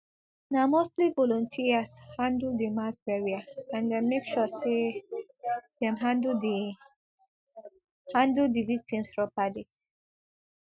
na mostly volunteers handle di mass burial and dem make sure say dem handle di handle di victims properly